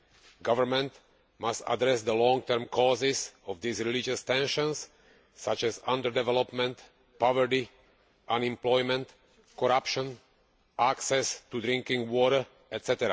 The government must address the long term causes of these religious tensions, such as under development, poverty, unemployment, corruption, access to drinking water, etc.